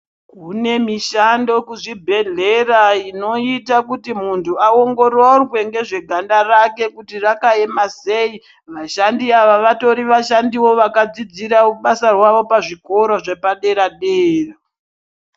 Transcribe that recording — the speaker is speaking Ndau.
Kune mishando kuzvibhedhlera inoita kuti muntu aongororwe nezveganda rake kuti rakaema sei vashandi ava vatori vashandiwo vakadzidizira basa rawo pazvikoro zvepadera dera